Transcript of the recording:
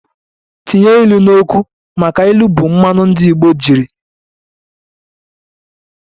Tinye ilu n'okwu! maka n'ilu bu mmanu ndi igbo ji eri okwu